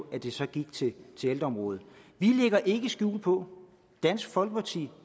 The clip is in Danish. at det så gik til ældreområdet vi lægger ikke skjul på at dansk folkeparti